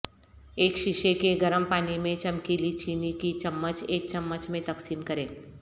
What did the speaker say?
ایک شیشے کے گرم پانی میں چمکیلی چینی کی چمچ ایک چمچ میں تقسیم کریں